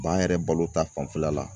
B'an yɛrɛ balo ta fanfɛla la.